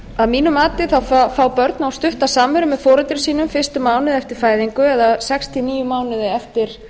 að mínu mati fá börn of stutta samveru með foreldrum sínum fyrstu mánuði eftir fæðingu eða sextíu og níu mánuði eftir